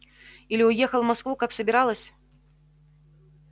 или уехала в москву как собиралась